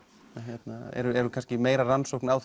en eru kannski meira rannsókn á